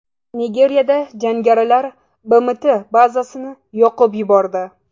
Nigeriyada jangarilar BMT bazasini yoqib yubordi.